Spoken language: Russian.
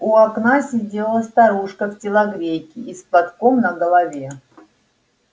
у окна сидела старушка в телогрейке и с платком на голове